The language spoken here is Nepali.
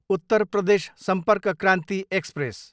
उत्तर प्रदेश सम्पर्क क्रान्ति एक्सप्रेस